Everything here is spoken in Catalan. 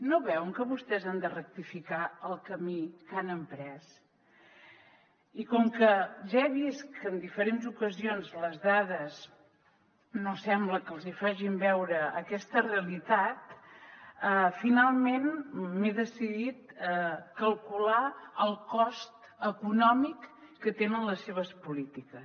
no veuen que vostès han de rectificar el camí que han emprès i com que ja he vist que en diferents ocasions les dades no sembla que els hi facin veure aquesta realitat finalment m’he decidit a calcular el cost econòmic que tenen les seves polítiques